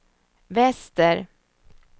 väster